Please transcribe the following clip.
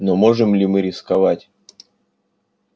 но можем ли мы рисковать